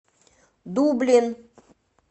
дублин